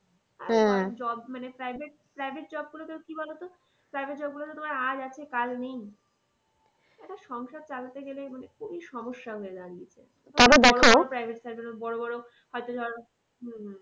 job মানে private, private job গুলোতে কি বলতো private job গুলোতে তোমার আজ আছে কাল নেই একটা সংসার চালাতে গেলে মানে খুবই সমস্যা হয়ে দাঁড়িয়েছে। বড়ো বড়ো হয়তো ধর হম